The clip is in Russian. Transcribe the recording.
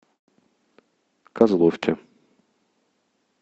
козловке